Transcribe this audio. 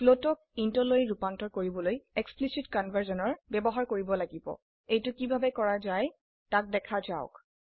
float ক int লৈ ৰুপান্তৰ কৰিবলৈ এক্সপ্লিসিট কনভাৰ্সন ব্যবহাৰ কৰিব লাগিব এইটি কিভাবে কৰা যায় তাক দেখা যাওক